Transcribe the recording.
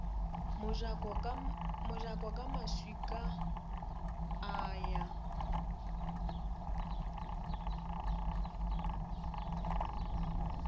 mojako ka maswika a ya